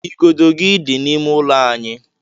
Igodo gi dị n'ime ụlọ anyị.